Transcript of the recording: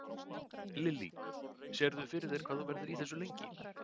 Lillý: Sérðu fyrir þér hvað þú verður í þessu lengi?